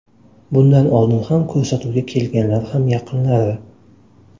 Bundan oldin ham ko‘rsatuvga kelganlar ham yaqinlari.